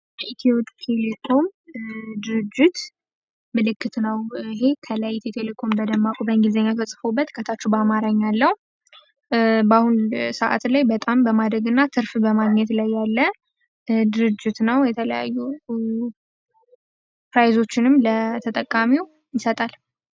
ኢትዮ ቴሌኮም ድርጅት ምልክት ነው። ይሄ ከላይ ኢትዮ ቴሌኮም በደማቁ በእንግሊዘኛ ተጽፎውበት ከታቹ በአማረኛ ያለው በአሁን ሰዓት ላይ በጣም በማድርግ እና ትርፍ በማግኘት ላይ ያለ ድርጅት ነው። የተለያዩ ፕራይዞችንም ለተጠቃሚው ይሰጣል።